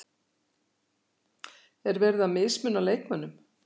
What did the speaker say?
Er verið að mismuna leikmönnum?